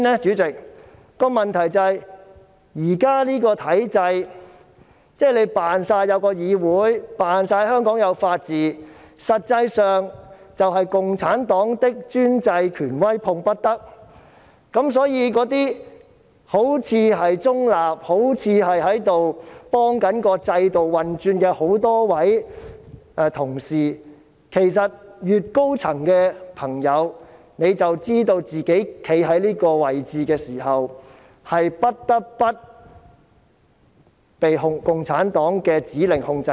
我認為問題是，現時的體制是假裝有議會、假裝有法治，但實際上是"共產黨的專制權威碰不得"，所以，那些好像中立、好像在協助制度運轉的同事，其實越高層便越了解到，站在這個位置，是不得不被共產黨的指令所控制。